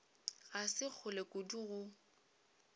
ga se kgole kudu go